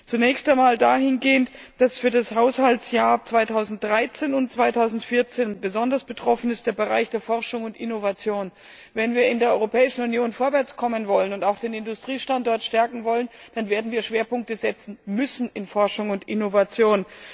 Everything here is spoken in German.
Zunächst einmal dahingehend, dass für das Haushaltsjahr 2013 und 2014 der Bereich Forschung und Innovation besonders betroffen ist. Wenn wir in der Europäischen Union vorwärts kommen wollen und auch den Industriestandort stärken wollen, dann werden wir Schwerpunkte setzen müssen in Forschung und Innovation.